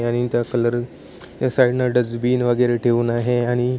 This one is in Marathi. आणि त्या कलर ह्या साइड न डस्टबिन वेगेरे ठेऊन आहे आणि--